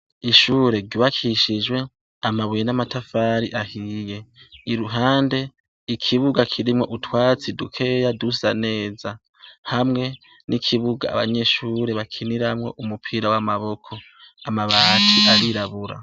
Ishure ryubakishijwe amabuye n’amatafari ahiye, iruhande, ikibuga kirimwo utwatsi dukeya dusa neza ,hamwe n’ikibuga abanyeshure bakiniramwo umupira w’amaboko, amabati arirabura.